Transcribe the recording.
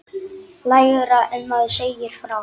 Lægra en maður segir frá.